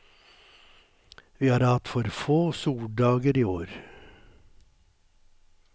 Vi har hatt for få soldager i år.